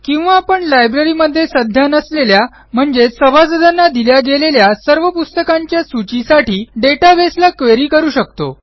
किंवा आपण लायब्ररीमध्ये सध्या नसलेल्या म्हणजेच सभासदांना दिल्या गेलेल्या सर्व पुस्तकांच्या सूचीसाठी databaseला क्वेरी करू शकतो